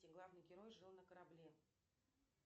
главный герой жил на корабле